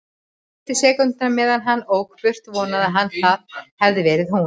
Fyrstu sekúndurnar meðan hann ók burt vonaði hann að það hefði verið hún.